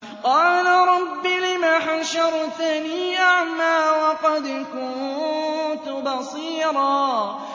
قَالَ رَبِّ لِمَ حَشَرْتَنِي أَعْمَىٰ وَقَدْ كُنتُ بَصِيرًا